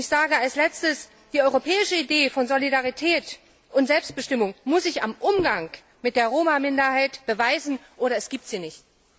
Und ich sage als Letztes Die europäische Idee von Solidarität und Selbstbestimmung muss sich am Umgang mit der Roma Minderheit beweisen, sonst gibt es sie nicht!